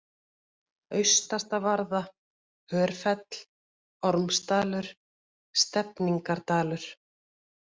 Austastavarða, Hörfell, Ormsdalur, Stefningardalur